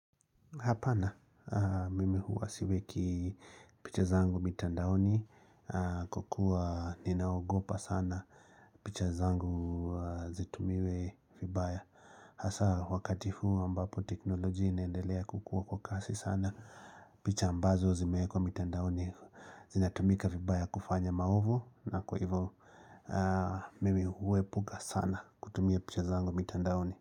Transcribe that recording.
Hapana, mimi huwa siweki picha zangu mitandaoni Kwa kuwa ninaogopa sana picha zangu zitumiwe vibaya. Hasaa wakati huu ambapo teknolojia inendelea kukua kwa kasi sana, picha ambazo zimewekwa mitandaoni zinatumika vibaya kufanya maovu na kwa hivyo mimi huwepuka sana kutumia picha zangu mitandaoni.